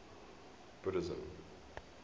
buddhism